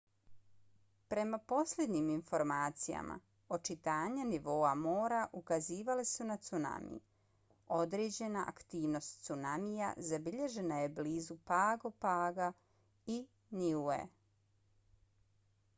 prema posljednjim informacijama očitanja nivoa mora ukazivala su na cunami. određena aktivnost cunamija zabilježena je blizu pago paga i niue